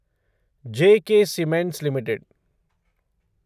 J K Cements limited